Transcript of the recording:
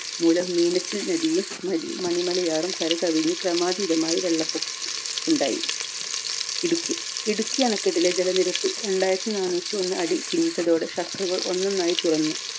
മൂലം മീനച്ചിൽ നദിയും മനി മണി മലയാറും കരകവിഞ്ഞു ക്രമാതീതമായി വെള്ളപൊക്കം ഉണ്ടായി. ഇടുക്കി ഇടുക്കി അണക്കെട്ടിലെ ജലനിരപ്പ് രണ്ടായിരത്തിനാനൂറ്റിഒന്ന് അടി പിന്നിട്ടതോടെ shutter കൾ ഒന്നൊന്നായി തുറന്നു